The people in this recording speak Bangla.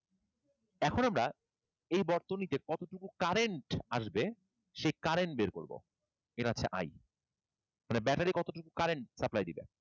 এখন আমরা এই বর্তনীতে কতটুকু current আসবে সেই current বের করব। এর হচ্ছে I মানে battery কতটুকু current supply দিবে।